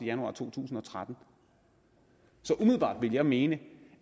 januar to tusind og tretten så umiddelbart vil jeg mene